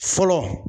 Fɔlɔ